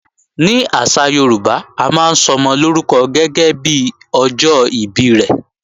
Ní àṣà Yorùbá, a máa ń sọmọ lórúkọ gẹ́gẹ́bí ọjọ́ ìbí rẹ̀